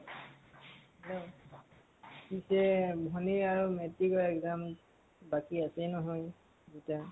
hello পিছে ভনী আৰু metric ৰ exam বাকী আছেই নহয়, দুটা।